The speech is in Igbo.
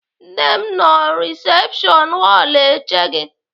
Nne m nọ risepshọn họlụ eche gị.